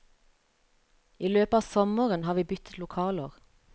I løpet av sommeren har vi byttet lokaler.